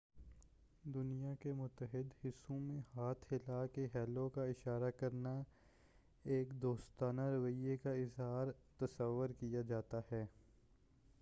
دنیا کے متعدد حصّوں میں، ہاتھ ہلا کر"ہیلو کا اشارہ کرنا، ایک دوستانہ رویہ کا اظہار تصور کیا جاتا ہے۔